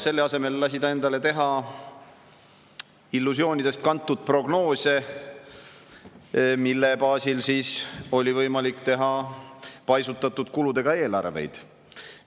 Selle asemel lasi ta endale teha illusioonidest kantud prognoose, mille baasil oli võimalik teha paisutatud kuludega eelarveid.